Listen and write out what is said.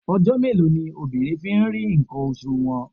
Ọjọ́ mélòó ni obìnrin fi ń rí ǹkan oṣù wọn?